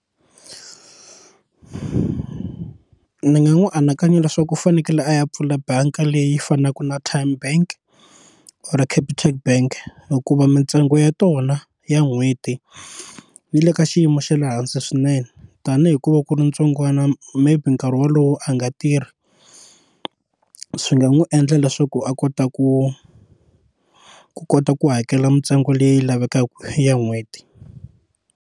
Ni nga n'wi anakanya leswaku u fanekele a ya pfula bangi leyi fanaka na Tyme bank or capitec bank hikuva mintsengo ya tona ya n'hweti yi le ka xiyimo xa le hansi swinene tanihi ku va ku ri ntsongwana maybe nkarhi wolowo a nga tirhi swi nga n'wi endla leswaku a kota ku ku kota ku hakela mintsengo leyi lavekaka ya n'hweti.